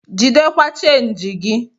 Jidekwa chenji gi!